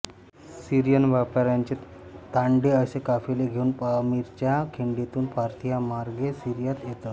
Syrian व्यापाऱ्यांचे तांडे असे काफिले घेऊन पामीरच्या खिंडीतून पार्थियामार्गे सिरियात येत